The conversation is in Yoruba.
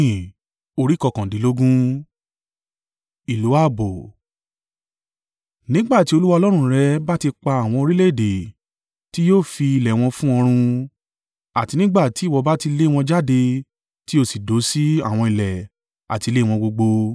Nígbà tí Olúwa Ọlọ́run rẹ bá ti pa àwọn orílẹ̀-èdè tí yóò fi ilẹ̀ wọn fún ọ run, àti nígbà tí ìwọ bá ti lé wọn jáde tí o sì dó sí àwọn ilẹ̀ àti ilé wọn gbogbo.